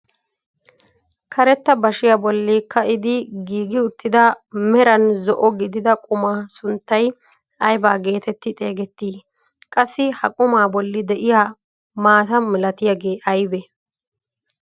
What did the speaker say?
karetta bashiyaa bolli ka'idi giigi uttida meraan zo'o gidida qumaa sunttay ayba getetti xegettii? qassi ha qumaa bolli de'iyaa maata milatiyaagee aybee?